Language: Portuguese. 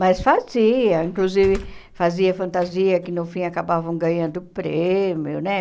Mas fazia, inclusive fazia fantasia que no fim acabavam ganhando prêmio, né?